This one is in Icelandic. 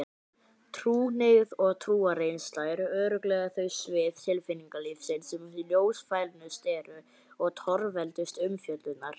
Trúhneigð og trúarreynsla eru örugglega þau svið tilfinningalífsins sem ljósfælnust eru og torveldust umfjöllunar.